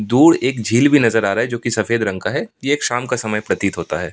दूर एक झील भी नजर आ रहा है जो कि सफेद रंग का है ये एक शाम का समय प्रतीत होता है।